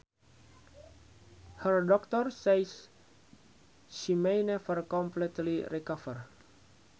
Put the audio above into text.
Her doctors say she may never completely recover